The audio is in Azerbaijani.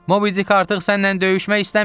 Mobidic artıq sənnən döyüşmək istəmir.